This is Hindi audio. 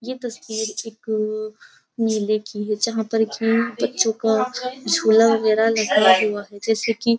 ये तस्वीर एक मेले की है जहां पर की बच्चों का झूला वगैरा लगा हुआ है जेसे कि --